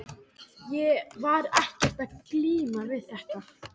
Ég var ekkert að glíma við þetta.